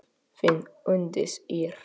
Þín Unndís Ýr.